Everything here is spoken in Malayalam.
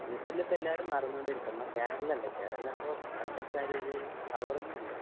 ഐ എസ് എൽ ഇപ്പൊ എല്ലാരും മറന്നു കൊണ്ടിരിക്കും. നമ്മുടെ കേരള പവറൊന്നും ഇല്ല.